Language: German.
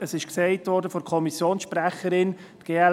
Die Kommissionssprecherin hat es erwähnt.